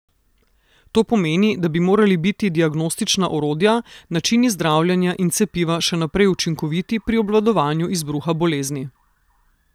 To pomeni, da bi morali biti diagnostična orodja, načini zdravljenja in cepiva še naprej učinkoviti pri obvladovanju izbruha bolezni.